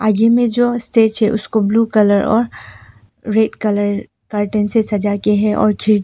में जो स्टेज है उसको ब्लू कलर और रेड कलर कर्टेन से सजा के हैं और खिड़की--